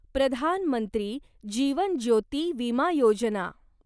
प्रधान मंत्री जीवन ज्योती विमा योजना